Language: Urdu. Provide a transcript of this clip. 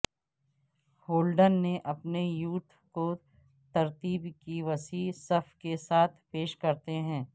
ہولڈن نے اپنے یوٹ کو ترتیب کی وسیع صف کے ساتھ پیش کرتے ہیں